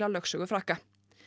lögsögu Frakka